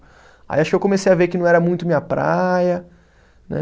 Aí acho que eu comecei a ver que não era muito minha praia, né?